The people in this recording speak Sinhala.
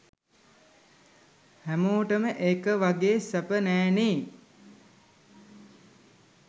හැමෝටම එක වගේ සැප නෑනේ.